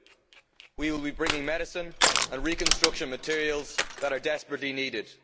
2. We will be bringing medicine and reconstruction materials that are desperately needed.